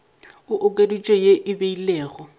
e okeditšwego ye e beilwego